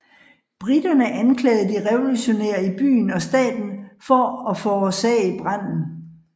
Briterne anklagede de revolutionære i byen og staten for at forårsagde branden